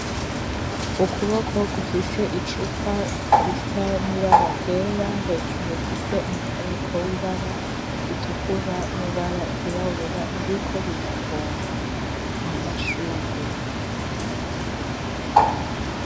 Ukuboko gufise icupa risa nibara ryera hejuru rifise umufuniko w'ibara ritukura n'ibara ryirabura ririko rirapompa amashugwe.